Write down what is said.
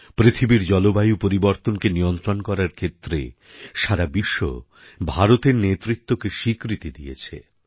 পৃথিবীর জলবায়ু পরিবর্তনকে নিয়ন্ত্রণ করার ক্ষেত্রে সারা বিশ্ব ভারতের নেতৃত্বকে স্বীকৃতি দিয়েছে